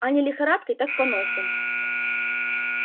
а не лихорадкой так поносом